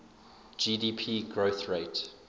gdp growth rate